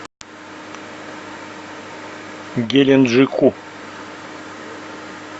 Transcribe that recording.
геленджику